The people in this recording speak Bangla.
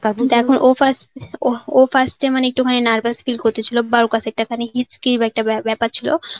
তারপর ও first ও first এ মানে একটুখানি nervous feel করতে ছিল টাকা নিয়ে একটা ব্যাপার ছিল.